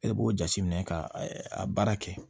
E b'o jateminɛ ka a baara kɛ